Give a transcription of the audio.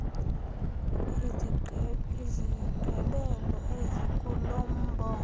isigqebelo esikulo mbongo